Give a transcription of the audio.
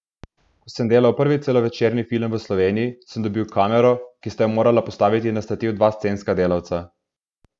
Ko sem delal prvi celovečerni film v Sloveniji, sem dobil kamero, ki sta jo morala postaviti na stativ dva scenska delavca.